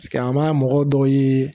an b'a mɔgɔ dɔw ye